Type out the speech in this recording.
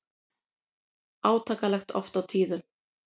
Átakanlegt oft á tíðum.